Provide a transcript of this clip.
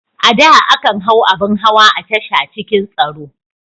A da, akan hau abin hawa a tasha cikin tsaro.